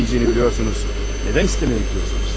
Mədəm verməyəcəyini bilirsiniz, nədən istəməyə gedirsiniz?